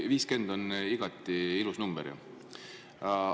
Tõesti, 50 on igati ilus number ju.